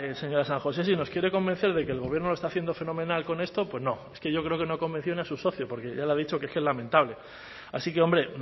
señora san josé si nos quiere convencer de que el gobierno lo está haciendo fenomenal con esto pues no es que yo creo que no ha convencido ni a su socio porque ya le ha dicho que es que es lamentable así que hombre